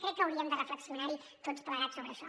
crec que hauríem de reflexionar tots plegats sobre això